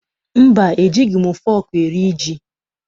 Mba, ejighị m fọọkụ eri ji.